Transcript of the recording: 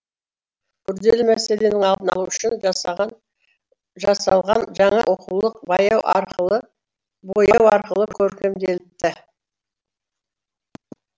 күрделі мәселенің алдын алу үшін жасалған жаңа оқулық бояу арқылы көркемделіпті